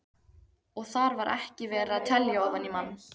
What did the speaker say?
Og þar var ekki verið að telja ofan í mann.